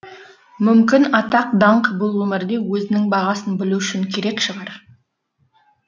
мүмкін атақ даңқ бұл өмірде өзінің бағасын білу үшін керек шығар